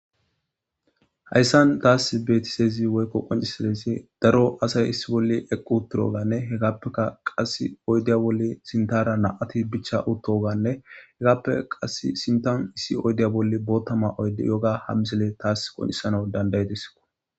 Hayssan taas betisezi woykko qoncisalesi daro asay issi bolle equ utturoganne hegaappeka qass oydeya bolle sintara na'ati bicha uttoganne hegappe qas sintan issi oydeya bolle boottama oyde yoga hammisele taas qoncisana dandayidiso